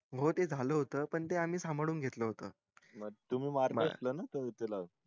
हो ते झालं होत पण ते आम्ही सांभाळून घेतलं होत म तुम्ही मारलं होत ना त्या वेळी त्याला